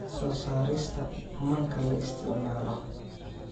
soo saarista manka la isticmaalo